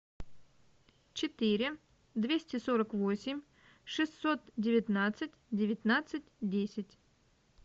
четыре двести сорок восемь шестьсот девятнадцать девятнадцать десять